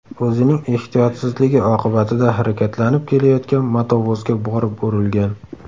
o‘zining ehtiyotsizligi oqibatida harakatlanib kelayotgan motovozga borib urilgan.